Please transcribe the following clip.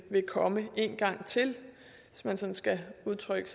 komme en gang til hvis man skal udtrykke